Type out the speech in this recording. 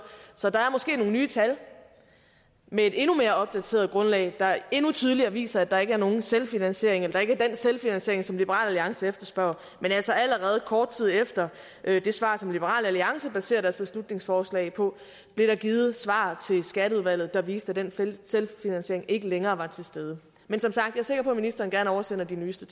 så der er måske nogle nye tal med et endnu mere opdateret grundlag der endnu tydeligere viser at der ikke er nogen selvfinansiering eller at der ikke er den selvfinansiering som liberal alliance efterspørger men altså allerede kort tid efter det svar som liberal alliance baserer deres beslutningsforslag på blev der givet svar til skatteudvalget der viste at den selvfinansiering ikke længere var til stede men som sagt er jeg sikker på at ministeren gerne oversender de nyeste